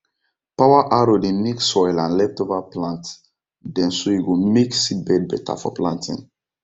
power harrow dey mix soil and leftover plant dem so e go make seedbed better for planting